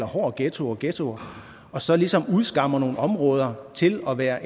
hård ghetto og ghetto og så ligesom udskammer nogle områder til at være